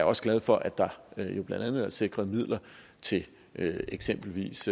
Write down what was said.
også glad for at der jo blandt andet er sikret midler til eksempelvis